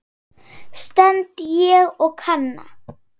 stend ég og kanna.